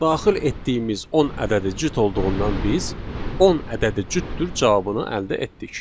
Daxil etdiyimiz 10 ədədi cüt olduğundan biz 10 ədədi cütdür cavabını əldə etdik.